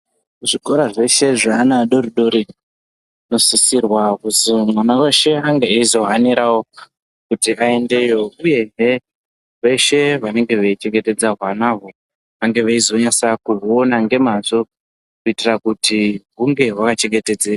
Zvikora zveshe zveana adoridori zvinosisirwa kuti mwana weshe ange eizohanirawo kuti vaendeyo uyezve veshe vanenge veichengetedza hwanahwo vange veizonyasa kuhuona ngemazvo kuitira kuti hunge hwakachengetedzeka.